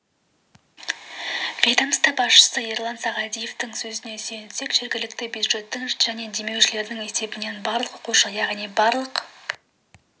ведомство басшысы ерлан сағадиевтің сөзіне сүйенсек жергілікті бюджеттің және демеушілердің есебінен барлығы оқушы яғни барлық